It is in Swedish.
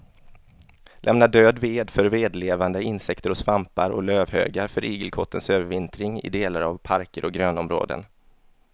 Lämna död ved för vedlevande insekter och svampar och lövhögar för igelkottens övervintring i delar av parker och grönområden.